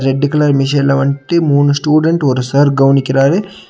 Red colour மெஷின்ல வன்ட்டு மூணு ஸ்டுடென்ட் ஒரு சார் கவனிக்குறாரு.